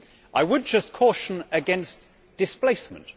I would just caution against displacement.